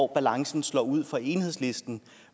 balancen slår ud for enhedslisten